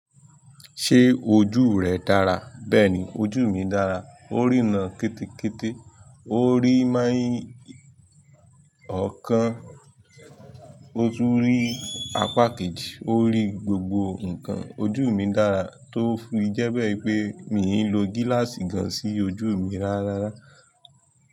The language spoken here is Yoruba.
Ṣé ojú rẹ dára? Bẹ́ẹ̀ni, ojú mi dára. Ó rì náà kítíkítí, ó rì merin ọ̀kan, ó tún rì apá kejì, ó rì gbogbo nǹkan. Ojú mi dára tó fì jẹ́bẹ́ pé mi ń lo gíláàsì gan sí ojú mi ráárárá.